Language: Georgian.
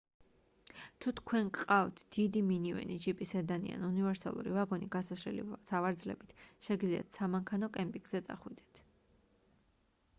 თუ თქვენ გყავთ დიდი მინივენი ჯიპი სედანი ან უნივერსალური ვაგონი გასაშლელი სავარძლებით შეგიძლიათ სამანქანო კემპინგზე წახვიდეთ